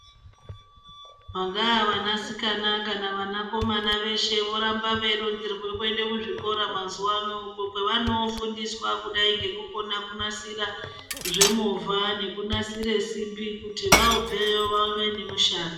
Vangaa vanasikana kana vanakomana veshe voramba veironzerwe kuende kuzvikora mazuva ano. Uko kwavanofundiswa kudai ngekukona kunasira zvemovha nekunasira simbi kuti vobveyo vave nemushando.